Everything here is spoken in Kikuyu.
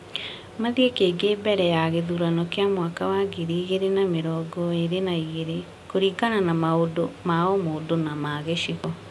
mathiĩ kĩngĩ mbere ya gĩthurano kĩa mwaka wa ngiri igĩrĩ na mĩrongo ĩrĩ na igĩrĩ, kũringana na maũndũ ma o mũndũ na ma gĩcigo.